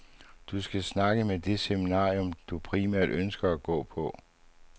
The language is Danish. Du skal snakke med det seminarium, du primært ønsker at gå på.